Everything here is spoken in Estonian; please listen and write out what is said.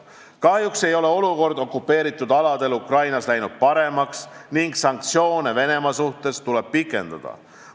Kahjuks ei ole olukord okupeeritud aladel Ukrainas läinud paremaks ning sanktsioone Venemaa suhtes tuleb pikendada.